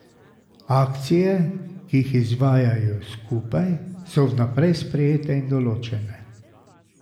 Akcije, ki jih izvajajo skupaj, so vnaprej sprejete in določene.